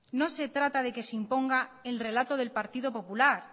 no se trata de que se imponga el relato del partido popular